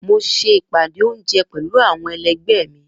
Mo ṣe ìpàdé oúnjẹ pẹ̀lú àwọn ẹlẹgbẹ́ mi